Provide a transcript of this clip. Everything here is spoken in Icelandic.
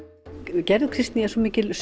gerður Kristný er svo mikil